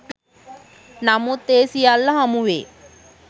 නමුත් ඒ සියල්ල හමුවේ